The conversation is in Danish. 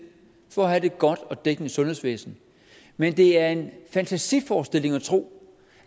for at have et godt og dækkende sundhedsvæsen men det er en fantasiforestilling at tro